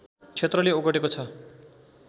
क्षेत्रले ओगटेको छ